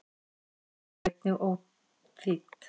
Brotin eru einnig óþýdd.